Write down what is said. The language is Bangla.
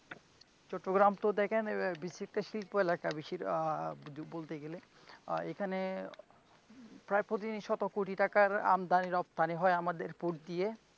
চট্টগ্রাম তো দেখেন একটা আহ শিল্প এলাকা আহ বলতে গেলে আর এখানে প্রায় প্রত্যেক দিনই শত কোটী টাকার আমদানি ও রপ্তানি হয় আমাদের উপর দিয়ে,